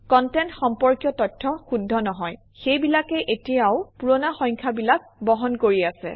content সম্পৰ্কীয় তথ্য শুদ্ধ নহয় সেইবিলাকে এতিয়াও পুৰণা সংখ্যাবিলাক বহন কৰি আছে